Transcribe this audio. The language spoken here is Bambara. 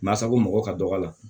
Masa ko mɔgɔ ka dɔgɔ la